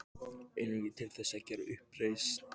Einungis til þess að gera uppreisn.